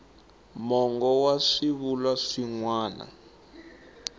mongo wa swivulwa swin wana